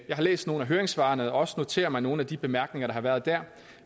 har læst nogle af høringssvarene og også noteret mig nogle af de bemærkninger der har været der